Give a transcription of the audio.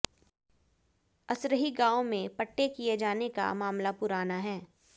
असरही गांव में पट्टे किए जाने का मामला पुराना है